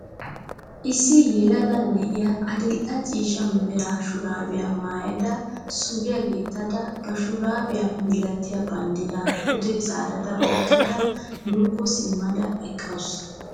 I ssi yelaga na'iyaa adil''e ciishsha mera shuraabiya maayyada suriyaa gixxidaara ba shuraabiyaa malatiyaa banddiraa pude zaarada oyiqqada nuukko simmada eqqaasu.